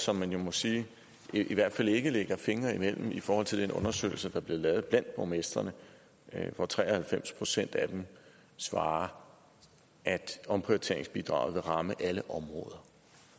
som man jo må sige i hvert fald ikke lægger fingrene imellem i forhold til den undersøgelse der blev lavet blandt borgmestrene hvor tre og halvfems procent af dem svarer at omprioriteringsbidraget vil ramme alle områder